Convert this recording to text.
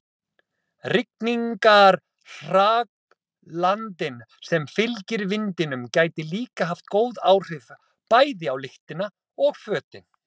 Rigningarhraglandinn sem fylgir vindinum gæti líka haft góð áhrif, bæði á lyktina og fötin.